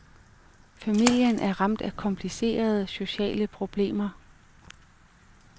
Familien er ramt af komplicerede, sociale problemer.